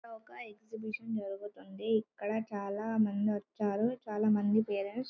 ఇక్కడ ఒక్క ఎక్సిబిషన్ జరుగుతుంది ఇక్కడ చాలా మంది వచ్చారు చాలా మంది పేరెంట్స్ --